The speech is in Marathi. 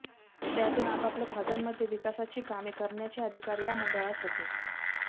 त्यातून आपापल्या भागांमध्ये विकासाची कामे करण्याचे अधिकार या मंडळास होते